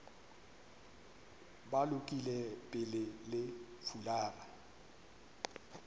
ba lokile pele le fulara